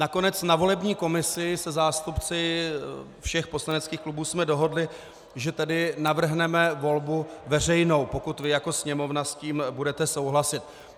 Nakonec na volební komisi se zástupci všech poslaneckých klubů jsme dohodli, že tedy navrhneme volbu veřejnou, pokud vy jako Sněmovna s tím budete souhlasit.